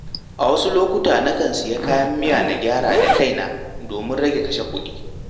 A wasu lokuta, nakan sayi kayan miya na gyara da kaina domin rage kashe kuɗi.